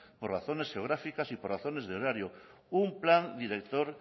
por razones geográficas y por razones de horario un plan director